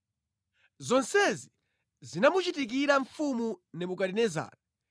Zonsezi zinamuchitikira mfumu Nebukadinezara.